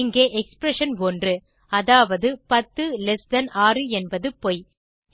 இங்கே எக்ஸ்பிரஷன்1 அதாவது 106 என்பது பொய்